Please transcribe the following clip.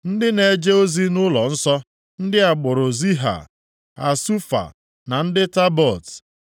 Ndị na-eje ozi nʼụlọnsọ: Ndị agbụrụ + 2:43 Maọbụ, ikwu Ziha, Hasufa na ndị Tabaot,